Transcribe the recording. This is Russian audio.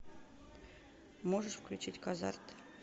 можешь включить казарт